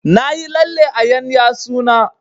Na yi lalle a ƴan yatsu na